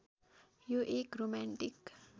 यो एक रोमान्टिक